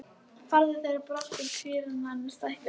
Færðu þeir brátt út kvíarnar og stækkuðu hænsnabúið að mun.